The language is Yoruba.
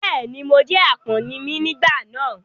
Bẹ́ẹ̀ ni, mo jẹ́ àpọ́n ni mí nígbà náà.